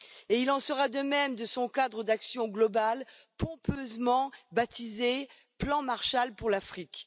Il en sera de même de son cadre d'action global, pompeusement baptisé plan Marshall pour l'Afrique.